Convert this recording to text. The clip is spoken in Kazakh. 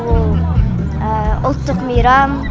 ол ұлттық мейрам